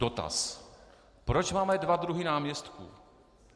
Dotaz: Proč máme dva druhy náměstků?